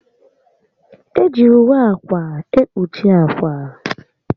Eji ùwé ákwà ekpuchi ákwà